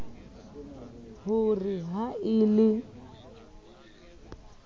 ho re ha e le